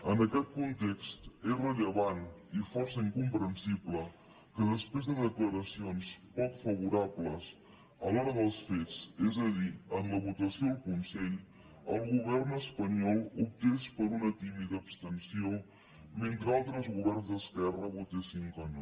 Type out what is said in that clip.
en aquest context és rellevant i força incomprensible que després de declaracions poc favorables a l’hora dels fets és a dir en la votació al consell el govern espanyol optés per una tímida abstenció mentre altres governs d’esquerra votaven que no